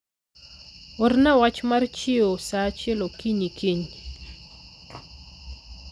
orna wach mar chiewo sa achiel okinyi kiny